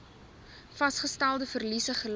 vasgestelde verliese gely